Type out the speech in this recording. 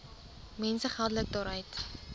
mense geldelik daaruit